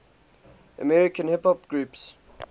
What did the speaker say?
american hip hop groups